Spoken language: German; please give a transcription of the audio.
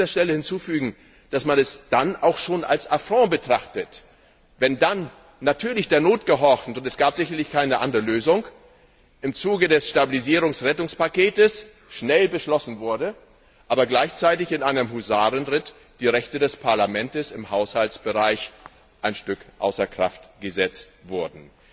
Ich will an dieser Stelle hinzufügen, dass man es dann auch schon als Affront betrachtet, wenn natürlich der Not gehorchend, und es gab sicherlich keine andere Lösung im Zuge des Stabilisierungs Rettungspakets schnell beschlossen wurde, aber gleichzeitig in einem Husarenritt die Rechte des Parlaments im Haushaltsbereich ein Stück außer Kraft gesetzt wurden.